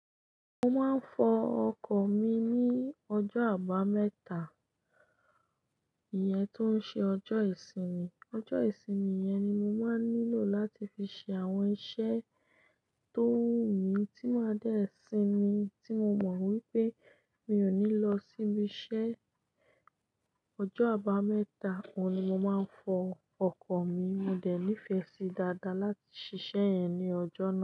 Mo máa ń fọ ọkọ̀ mi ní ọjọ́ àbámẹ́ta, ìyẹn tó ń ṣe ọjọ́ ìsinmi. Ọjọ́ ìsinmi yẹn ni mo máa ń nílò láti fi ṣe àwọn iṣẹ́ tó wù mí tí máa dẹ́ẹ̀ sinmi tí mo mọ̀ wípé mi ò ní lọ síbi iṣẹ́. Ọjọ́ àbámẹ́ta, òun ni mo máa ń fọ ọkọ̀ mi. Mo dẹ̀ nífẹ̀ẹ́ sí i dáadáa láti ṣiṣẹ́ yẹn ní ọjọ́ náà.